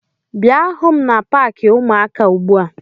Bia hụ m na paakị ụmụaka ugbu a!